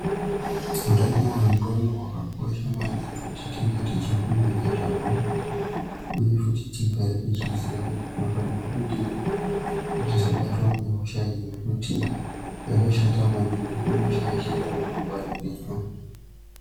Utano hwendxondo hwakakosha maningi kuti tinge tichifunda ngezvazvo, uye futi tigare tichiziya kuti tinofanirwa kudini kuti tisabatwa ngehosha iyi ngekuti yakashata maningi, inoshaishira remangwani redu